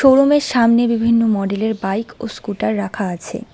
Showroom -এর সামনে বিভিন্ন মডেল -এর বাইক ও স্কুটার রাখা আছে।